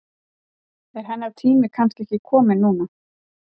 Er hennar tími kannski ekki kominn núna?